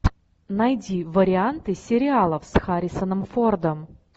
найди варианты сериалов с харрисоном фордом